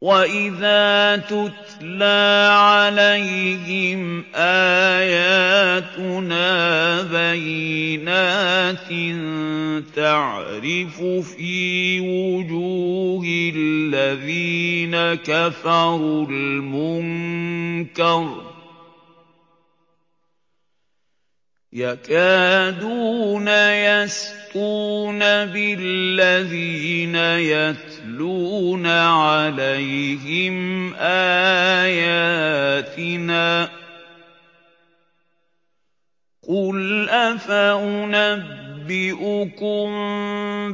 وَإِذَا تُتْلَىٰ عَلَيْهِمْ آيَاتُنَا بَيِّنَاتٍ تَعْرِفُ فِي وُجُوهِ الَّذِينَ كَفَرُوا الْمُنكَرَ ۖ يَكَادُونَ يَسْطُونَ بِالَّذِينَ يَتْلُونَ عَلَيْهِمْ آيَاتِنَا ۗ قُلْ أَفَأُنَبِّئُكُم